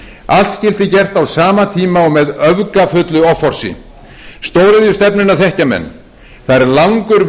allt skyldi gert á sama tíma og með öfgafullu offorsi stóriðjustefnuna þekkja menn það er langur vegur